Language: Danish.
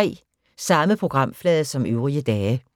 Samme programflade som øvrige dage